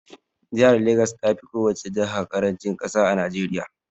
Jahar Legas tafi kowace jaha ƙarancin ƙasa a Najeriya